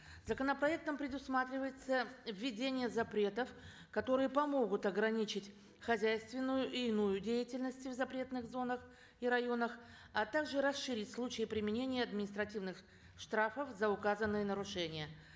законопроектом предусматривается введение запретов которые помогут ограничить хозяйственную и иную деятельность в запретных зонах и районах а также расширить случаи применения административных штрафов за указанные нарушения